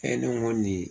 E ne ko nin